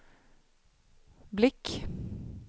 blick